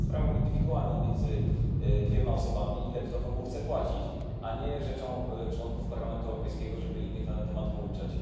To jest sprawą indywidualną między dwiema osobami, ile kto komu chce płacić, a nie rzeczą posłów do Parlamentu Europejskiego, żeby innych na ten temat pouczać.